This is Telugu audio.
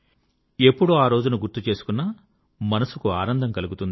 ఎప్పుడు ఆరోజును గుర్తు చేసుకున్నా మనసుకు ఆనందం కలుగుతుంది